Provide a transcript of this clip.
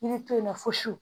I bɛ to yen nɔ fo